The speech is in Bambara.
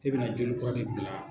E bɛna joli kura de bila